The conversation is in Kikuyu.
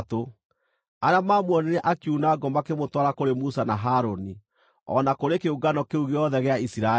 Arĩa maamuonire akiuna ngũ makĩmũtwara kũrĩ Musa na Harũni, o na kũrĩ kĩũngano kĩu gĩothe gĩa Isiraeli,